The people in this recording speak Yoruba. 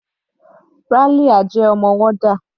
Ralia jẹ́ ọmọ warder.